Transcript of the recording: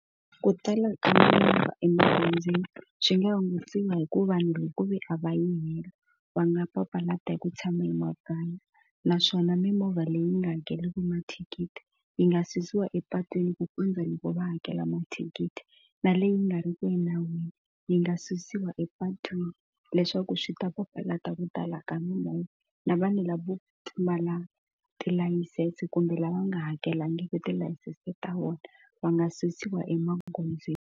Ku tala ka mimovha emagondzweni swi nga hungutiwa hi ku vanhu hi ku ve a va yi hela va nga papalata hi ku tshama emakaya naswona mimovha leyi nga hakeriki mathikithi yi nga susiwa epatwini ku kondza loko va hakela mathikithi na leyi nga ri ki enawini yi nga susiwa epatwini leswaku swi ta papalata ku tala ka mimovha na vanhu lavo pfumala tilayisense kumbe lava nga hakelangiki tilayisense ta vona va nga susiwa emagondzweni.